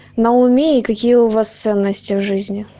на уме и какие у вас ценности в жизни